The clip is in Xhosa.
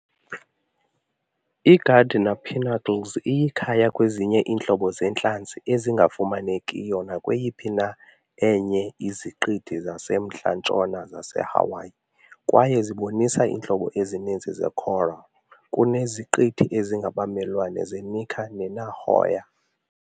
I-Gardner Pinnacles iyikhaya kwezinye iintlobo zeentlanzi ezingafumanekiyo nakweyiphi na enye iZiqithi zaseMntla-ntshona zaseHawaii, kwaye zibonisa iintlobo ezininzi ze-coral kuneziqithi ezingabamelwane ze- Necker ne -Nihoa .